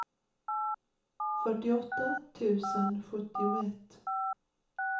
fyrtioåtta tusen sjuttioett